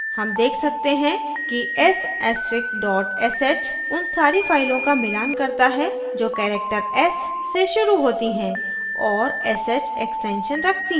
हम देख सकते हैं कि s ऐस्टरिक dot sh उन सारी फाइलों का मिलान करता है जो character s से शुरू होती हैं और sh extension रखती हैं